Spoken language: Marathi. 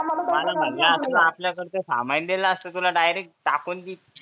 मला म्हणले असते तर आपल्याकडचं सामायिन दिल असते तुला चाकून भी